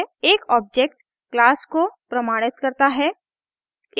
एक object class को प्रमाणित करता है